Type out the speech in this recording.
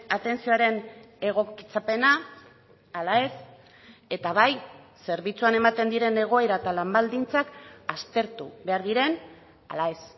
atentzioaren egokitzapena ala ez eta bai zerbitzuan ematen diren egoera eta lan baldintzak aztertu behar diren ala ez